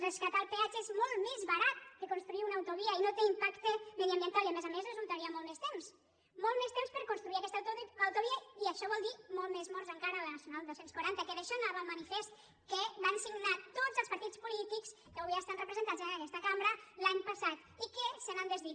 rescatar el peatge és molt més barat que construir una autovia i no té impacte ambiental i a més a més resultaria molt més temps molt més temps per construir aquesta autovia i això vol dir molts més morts a la nacional tres cents i quaranta que d’això anava el manifest que van signar tots els partits polítics que avui estan representats en aquesta cambra l’any passat i que se n’han desdit